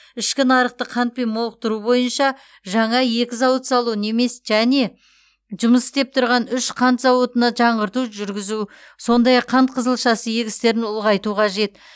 ішкі нарықты қантпен молықтыру бойынша жаңа екі зауыт салу немес және жұмыс істеп тұрған үш қант зауытына жаңғырту жүргізу сондай ақ қант қызылшасы егістерін ұлғайту қажет